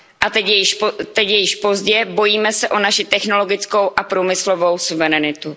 Teď je již pozdě, bojíme se o naši technologickou a průmyslovou suverenitu.